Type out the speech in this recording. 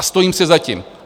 A stojím si za tím!